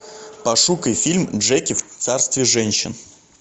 пошукай фильм джеки в царстве женщин